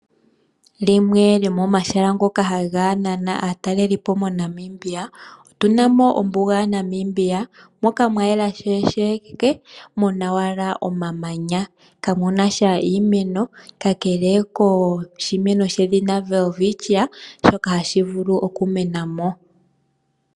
Limwe lyomomahala ngoka haga nana aatalelipo moNamibia, otuna mo ombuga yaNamibia, moka mwayela sheke muna owala omamanya, kakele koshimeno sho Welwitschia, shoka hashi vulu okumena mo.